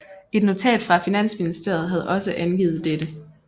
Et notat fra Finansministeriet havde også angivet dette